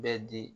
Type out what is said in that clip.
Bɛ di